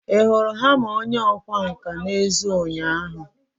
Ị hụrụ hama onye ọkwá nkà n'èzí ụnyaahụ?